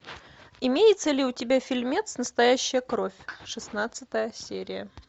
имеется ли у тебя фильмец настоящая кровь шестнадцатая серия